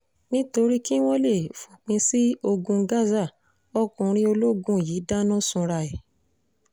nítorí kí wọ́n lè fòpin sí ogun gaza ọkùnrin ológun yìí dáná sunra ẹ̀